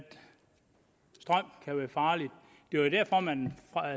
strøm kan være farlig det var jo derfor at man